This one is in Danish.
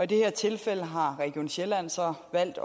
det her tilfælde har region sjælland så valgt